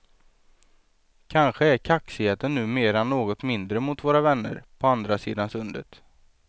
Kanske är kaxigheten numera något mindre mot våra vänner på andra sidan sundet.